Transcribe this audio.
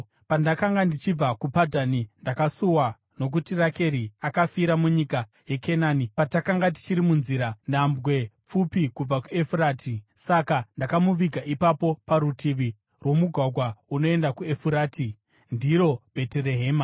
Pandakanga ndichibva kuPadhani, ndakasuwa nokuti Rakeri akafira munyika yeKenani patakanga tichiri munzira, nhambwe pfupi kubva kuEfurati. Saka ndakamuviga ipapo parutivi rwomugwagwa unoenda kuEfurati” (ndiro Bheterehema).